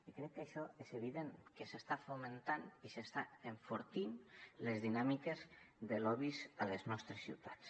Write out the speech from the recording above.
i crec que això és evident que s’està fomentant i s’està enfortint les dinàmiques de lobbys a les nostres ciutats